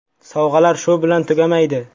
Sovg‘alar shu bilan tugamaydi.